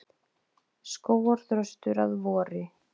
Skógarþröstur að vori.